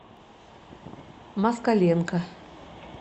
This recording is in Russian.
москаленко